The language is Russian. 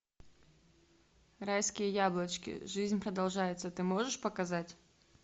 райские яблочки жизнь продолжается ты можешь показать